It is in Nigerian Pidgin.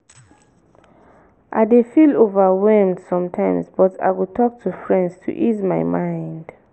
i dey feel overwhelmed sometimes but i go talk to friends to ease my mind.